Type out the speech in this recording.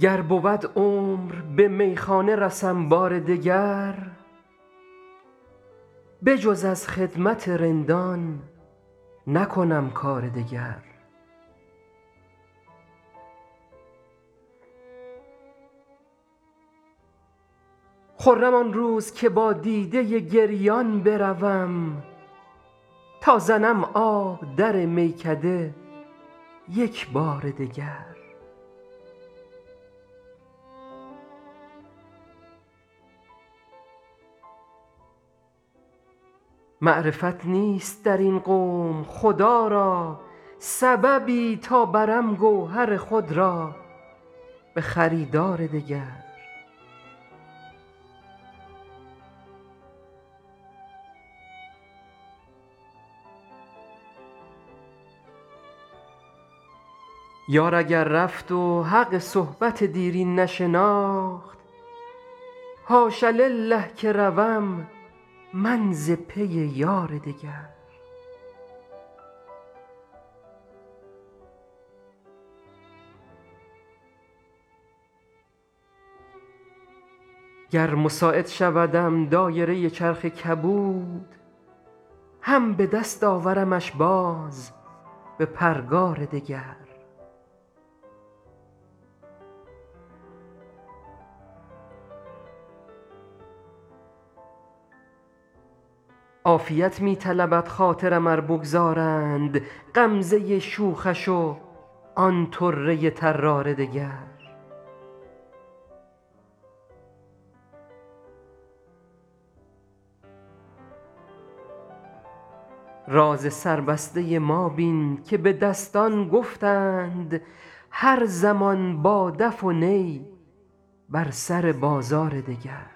گر بود عمر به میخانه رسم بار دگر بجز از خدمت رندان نکنم کار دگر خرم آن روز که با دیده گریان بروم تا زنم آب در میکده یک بار دگر معرفت نیست در این قوم خدا را سببی تا برم گوهر خود را به خریدار دگر یار اگر رفت و حق صحبت دیرین نشناخت حاش لله که روم من ز پی یار دگر گر مساعد شودم دایره چرخ کبود هم به دست آورمش باز به پرگار دگر عافیت می طلبد خاطرم ار بگذارند غمزه شوخش و آن طره طرار دگر راز سربسته ما بین که به دستان گفتند هر زمان با دف و نی بر سر بازار دگر